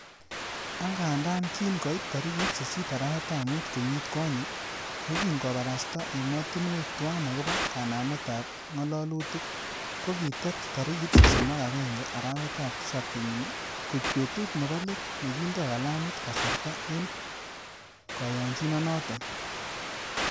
Angandan kin koit tarigit sisit arawetab mut kenyit konye, yekin kobarasta emotinwek tuan agobo kanamet ab ngololutik, ko kitet tarigit sosom ak agenge arawetab Tisap kenyini koik betut nebo let nekindo kalamit kasarta en koyonyinonoton.